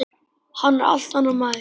Hann er allt annar maður.